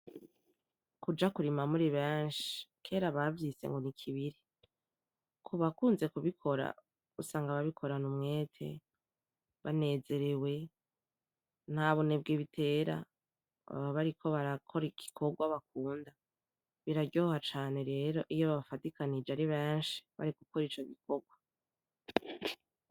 Kuja kurima muri benshi, kera bavyita ngo ni ikibiri ku bakunze kubikora usanga babikorana umwete banezerewe ntabunebwe bitera baba bariko barakora igikogwa bakunda biraryoha cane rero iyo bafadikanije ari benshi bari gukora ico gikogwa.